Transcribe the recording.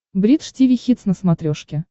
бридж тиви хитс на смотрешке